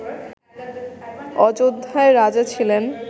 অযোধ্যায় রাজা ছিলেন